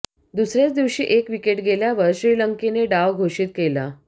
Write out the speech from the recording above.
दुसऱ्या दिवशी एक विकेट गेल्यावर श्रीलंकेनं डाव घोषित केला